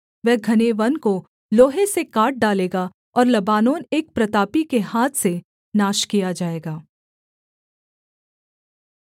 वह घने वन को लोहे से काट डालेगा और लबानोन एक प्रतापी के हाथ से नाश किया जाएगा